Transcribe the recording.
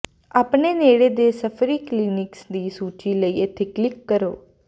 ਆਪਣੇ ਨੇੜੇ ਦੇ ਸਫ਼ਰੀ ਕਲੀਨਿਕਸ ਦੀ ਸੂਚੀ ਲਈ ਇੱਥੇ ਕਲਿੱਕ ਕਰੋ